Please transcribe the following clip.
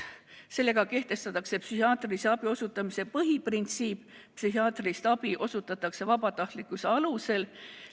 Sellega kehtestatakse psühhiaatrilise abi osutamise põhiprintsiip: psühhiaatrilist abi osutatakse vabatahtlikkuse alusel.